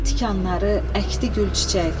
Qırdı tikanları, əkdi gülçiçək.